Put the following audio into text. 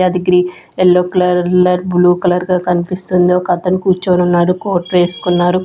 అది గ్రీ-- yellow colour blue colour గా కనిపిస్తుంది ఒక అతను కూర్చొని ఉన్నాడు కోట్ వేసుకున్నారు.